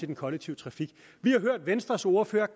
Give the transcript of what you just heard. den kollektive trafik vi har hørt venstres ordfører